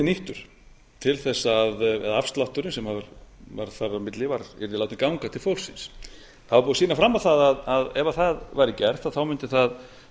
nýttu st til þess að eða afslátturinn sem var færður á milli yrði látinn ganga til fólksins það var búið að sýna fram á það að ef það væri gert mundi það